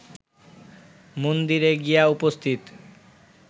মন্দিরে গিয়া উপস্থিত